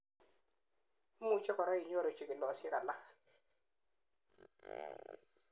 imuchei korak inyoru chikilosiek alak